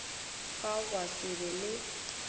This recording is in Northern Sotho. fao gwa se be le